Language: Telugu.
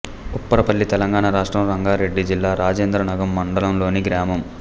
ఉప్పరపల్లి తెలంగాణ రాష్ట్రం రంగారెడ్డి జిల్లా రాజేంద్రనగర్ మండలంలోని గ్రామం